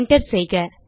enter செய்க